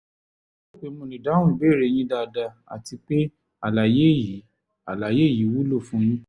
mo lérò pé mo lè dáhùn ìbéèrè yín dáadáa àti pé àlàyé yìí àlàyé yìí wúlò fún yín